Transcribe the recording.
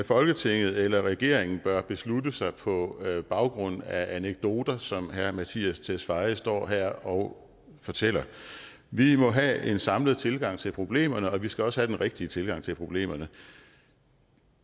folketinget eller regeringen bør beslutte sig på baggrund af anekdoter som herre mattias tesfaye står her og fortæller vi må have en samlet tilgang til problemerne og vi skal også have den rigtige tilgang til problemerne